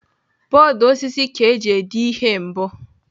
Bọọdụ osisi ka eji dee ihe mbụ.